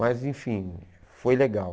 Mas, enfim, foi legal.